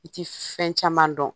I ti fɛn caman dɔn.